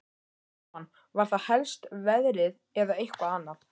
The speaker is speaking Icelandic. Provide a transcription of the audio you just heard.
Jóhann: Var það helst veðrið eða eitthvað annað?